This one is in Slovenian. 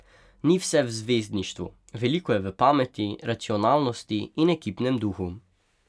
Ni vse v zvezdništvu, veliko je v pameti, racionalnosti in ekipnem duhu.